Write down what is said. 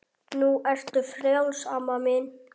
Nú ertu frjáls amma mín.